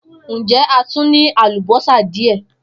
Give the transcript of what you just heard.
Njẹ a tun ni alubosa diẹ?